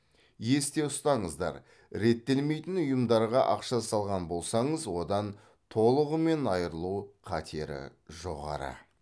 есте ұстаңыздар реттелмейтін ұйымдарға ақша салған болсаңыз одан толығымен айырылу қатері жоғары